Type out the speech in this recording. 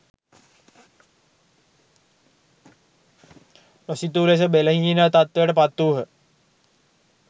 නොසිතූ ලෙස බෙලහීන තත්ත්වයට පත් වූහ